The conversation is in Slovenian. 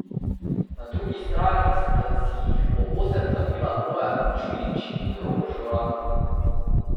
Na drugi strani sta jih po osem zabila Bojan Čudič in Rok Žuran.